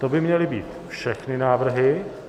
To by měly být všechny návrhy.